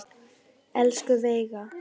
Elsku Veiga.